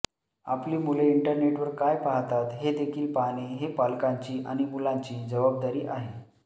आपली मुले इंटरनेटवर काय पाहतात हेदेखील पाहणे हे पालकांची आणि मुलांची जबाबदारी आहे